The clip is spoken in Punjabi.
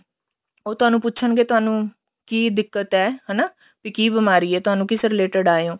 ਉਹ ਤੁਹਾਨੂੰ ਪੁੱਛਣਗੇ ਤੁਹਾਨੂੰ ਕੀ ਦਿੱਕਤ ਏ ਹਨਾ ਵੀ ਕੀ ਬੀਮਾਰੀ ਏ ਤੁਹਾਨੁੰ ਕਿਸ related ਆਏ ਓਂ